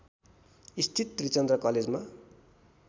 स्थित त्रिचन्द्र कलेजमा